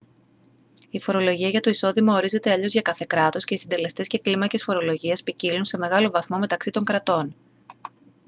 η φορολογία για το εισόδημα ορίζεται αλλιώς για κάθε κράτος και οι συντελεστές και κλίμακες φορολογίας ποικίλουν σε μεγάλο βαθμό μεταξύ των κρατών